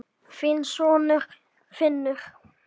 Þinn sonur, Finnur.